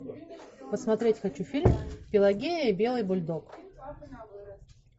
посмотреть хочу фильм пелагия и белый бульдог